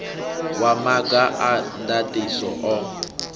wa maga a ndaṱiso o